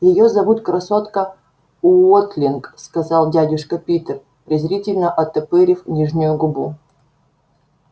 её зовут красотка уотлинг сказал дядюшка питер презрительно оттопырив нижнюю губу